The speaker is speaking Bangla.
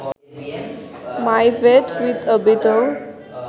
my date with a beetle